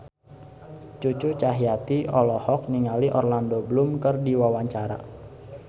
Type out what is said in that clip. Cucu Cahyati olohok ningali Orlando Bloom keur diwawancara